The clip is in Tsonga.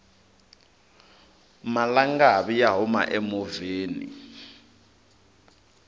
malangavi ya huma emovheni